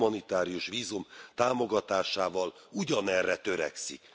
humanitárius vízum támogatásával ugyanerre törekszik.